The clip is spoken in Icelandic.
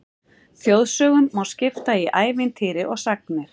Þjóðsögum má skipta í ævintýri og sagnir.